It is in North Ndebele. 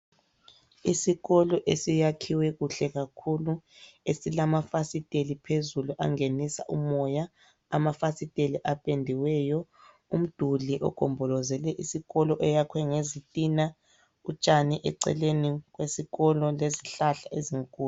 Isikolo esiyakhiwe kuhle kakhulu esilamafasiteli phezulu angenisa umoya, amafasiteli apendiweyo, umduli ogombolozele isikolo oyakhwe ngezitina, utshani eceleni kwesikolo lezihlahla ezinkulu.